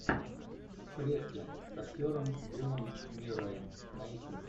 в клетке с актером биллом мюрреем найти